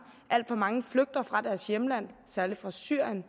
alt for mange flygter fra deres hjemland særlig fra syrien